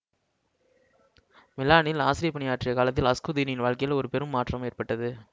மிலானில் ஆசிரியப்பணி ஆற்றிய காலத்தில் அகுஸ்தீனின் வாழ்க்கையில் ஒரு பெரும் மாற்றம் ஏற்பட்டது